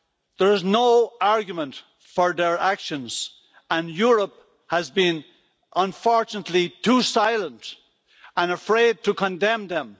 There is no argument for their actions and Europe has been unfortunately too silent and afraid to condemn them.